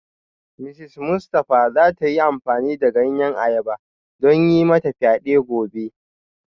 Mrs Mustafa za ta yi amfani da ganyen ayaba don yi mata fyade gobe